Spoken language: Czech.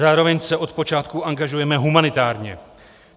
Zároveň se od počátku angažujeme humanitárně.